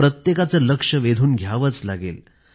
प्रत्येकाचं लक्ष वेधून घ्यावंच लागेल